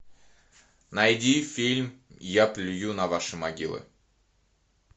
найди фильм я плюю на ваши могилы